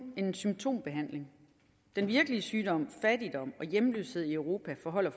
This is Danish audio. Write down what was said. en symptombehandling den virkelige sygdom fattigdom og hjemløshed i europa forholder